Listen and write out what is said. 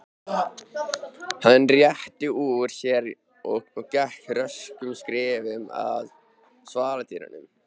Hann rétti úr sér og gekk röskum skrefum að svaladyrunum.